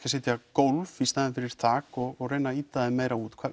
að setja gólf í staðinn fyrir þak og reyna að ýta þeim út